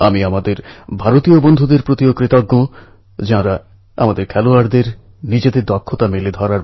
আপনারা টিভিতে নিশ্চয় দেখেছেন যে থাইল্যাণ্ডে ১২ জন কিশোর ফুটবল খেলোয়াড়ের একটি দল এবং তাদের কোচ একটি গুহাতে